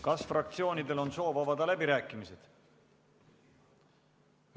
Kas fraktsioonidel on soov avada läbirääkimised?